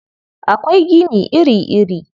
Akwai gini iri-iri.